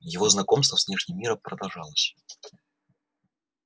его знакомство с внешним миром продолжалось